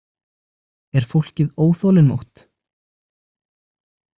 Er fólkið óþolinmótt?